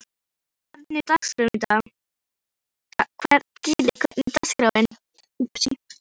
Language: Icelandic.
Gillý, hvernig er dagskráin?